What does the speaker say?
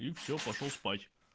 все пошёл спать